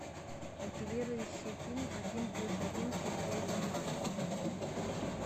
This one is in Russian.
мотивирующий фильм один плюс один смотреть онлайн